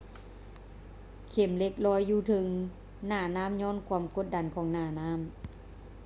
ເຂັມເຫຼັກລອຍຢູ່ເທິງໜ້ານໍ້າຍ້ອນຄວາມກົດດັນຂອງໜ້ານ້ຳ